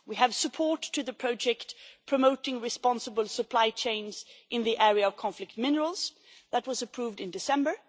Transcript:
We have support to the project promoting responsible supply chains in the area of conflict minerals, which was approved in December